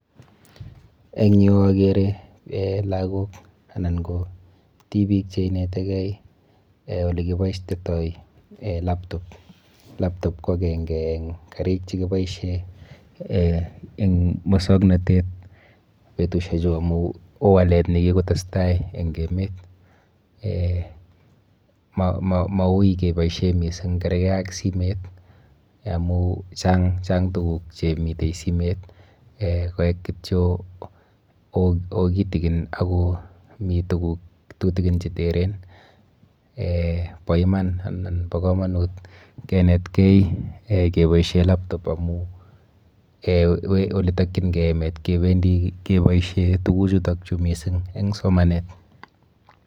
Eng yuu okeree eeh lakok anan koo tibik cheinetekee olekiboishoitoi laptop, laptop ko akeng'e en karik chekiboishen en muswoknotet betushechu kowoo walet nekikotestai en emet, mauuii keboishen mising kerkee ak simoit amuun chang tukuk chemii simoit eeh koik kityo woo kitikon akoo tutukin tukuk cheteren eeh boo iman anan boo komonut kinetkei keboishen laptop amuun oletokying'ee emet kebendi keboishen tukuchuton mising en somanet.